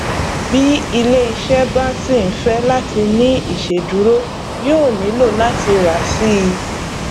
bí ilé iṣẹ bá ṣì ń fẹ láti ní ìṣèdúró yóò nílò láti rà síi